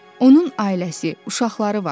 Onun ailəsi, uşaqları var.